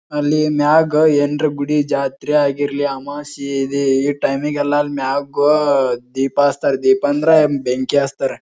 ಅಲ್ಲಿ ಮ್ಯಾಗ್ ಹೇಂಡ್ರ್ ಗುಡಿ ಜಾತ್ರೆ ಆಗಿರ್ಲಿ ಅಮಾಸಿ ಈ ಟೈಮ್ ಗೆಲ್ಲ ಆ ಮ್ಯಾಗ್ ದೀಪ ಹಚ್ತಾರೆ ದೀಪ ಅಂದ್ರೆ ಬೆಂಕಿ ಹಚ್ತಾರೆ.